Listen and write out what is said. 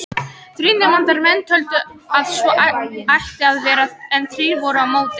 Þrír nefndarmenn töldu að svo ætti að vera en þrír voru á móti.